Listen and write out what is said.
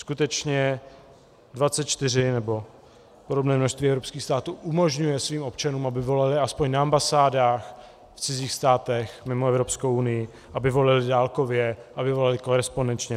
Skutečně 24 nebo podobné množství evropských států umožňuje svým občanům, aby volili aspoň na ambasádách v cizích státech mimo Evropskou unii, aby volili dálkově, aby volili korespondenčně.